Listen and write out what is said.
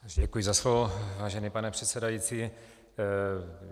Děkuji za slovo, vážený pane předsedající.